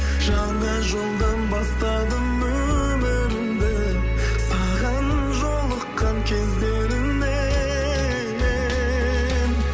жаңа жолдан бастадым өмірімді саған жолыққан кездерімнен